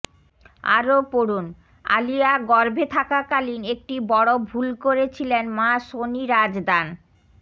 আরও পড়ুনঃ আলিয়া গর্ভে থাকাকালীন একটি বড় ভুল করেছিলেন মা সোনি রাজদান